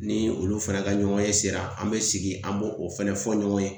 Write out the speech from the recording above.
Ni olu fana ka ɲɔgɔnye sera an bɛ sigi an bo o fana fɔ ɲɔgɔn ye